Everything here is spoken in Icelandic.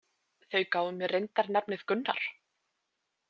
Þau gáfu mér reyndar nafnið Gunnar